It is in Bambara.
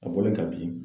A bolo ka bin